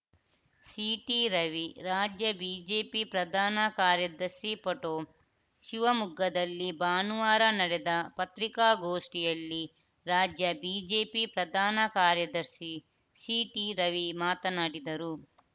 ಸಿಟಿರವಿ ರಾಜ್ಯ ಬಿಜೆಪಿ ಪ್ರಧಾನ ಕಾರ್ಯದರ್ಶಿ ಪೋಟೋ ಶಿವಮೊಗ್ಗದಲ್ಲಿ ಭಾನುವಾರ ನಡೆದ ಪತ್ರಿಕಾಗೋಷ್ಠಿಯಲ್ಲಿ ರಾಜ್ಯ ಬಿಜೆಪಿ ಪ್ರಧಾನ ಕಾರ್ಯದರ್ಶಿ ಸಿಟಿರವಿ ಮಾತನಾಡಿದರು